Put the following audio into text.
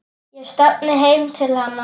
Ég stefni heim til hennar.